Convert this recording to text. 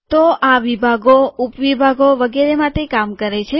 તો આ વિભાગો ઉપ વિભાગો વગેરે માટે કામ કરે છે